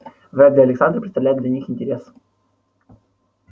вряд ли александр представляет для них интерес